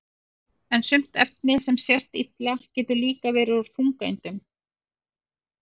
en sumt efni sem sést illa getur líka verið úr þungeindum